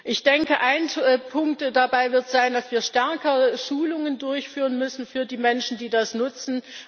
Ich denke, ein Punkt dabei wird sein, dass wir stärker Schulungen durchführen müssen für die Menschen, die das nutzen.